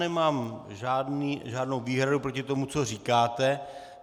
Nemám žádnou výhradu proti tomu, co říkáte.